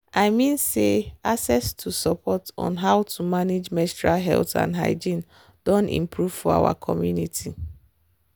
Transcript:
i mean say access to support on how to manage menstrual health and hygiene doh improve for our community.